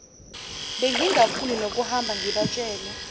bengingafuni nokuhamba ngibatshele